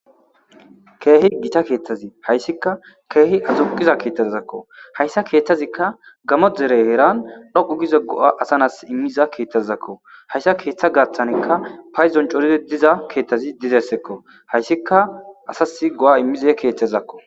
keehi gita keeththazi hayssika keehi azuqiza keetazakko hayssa keeththazikka gamo dere heeran dhoqu gize go'asanas immiza keeththazzakko hayssa keeththa gaaththankka payzon coridi diza keeththazi dizessekko hayssikka asasi go7a immize keeththezakko.